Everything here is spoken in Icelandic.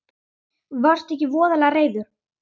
Varðstu ekki voðalega reiður?